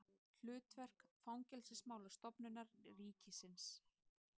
Hlutverk Fangelsismálastofnunar ríkisins.